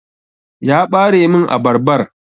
Ya Ɓare min abarbar.